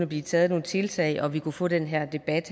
blive taget nogle tiltag og vi kunne få den her debat